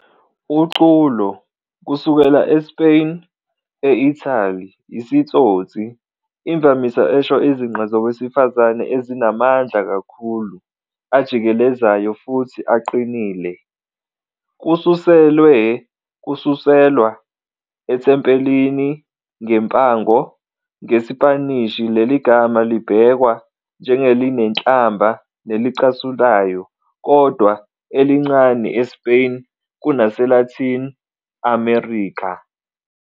UCulo - Kusuka eSpain, e-Italy, isitsotsi, imvamisa esho izinqe zowesifazane ezinamandla amakhulu, ajikelezayo futhi aqinile. Kususelwe kususelwa ethempelini ngempango, ngeSpanishi leli gama libhekwa njengelinenhlamba nelicasulayo, kodwa elincane eSpain kunaseLatin America.